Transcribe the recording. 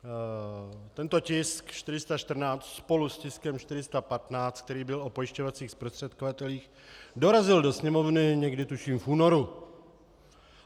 Tento tisk 414 spolu s tiskem 415, který byl o pojišťovacích zprostředkovatelích, dorazil do Sněmovny někdy, tuším, v únoru.